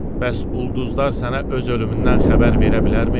Bəs ulduzlar sənə öz ölümündən xəbər verə bilərmi?